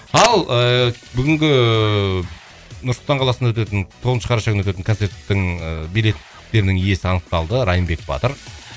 ал ыыы бүгінгі нұр сұлтан қаласында өтетін тоғызыншы қараша күні өтетін концерттің ыыы билеттерінің иесі анықталды райымбек батыр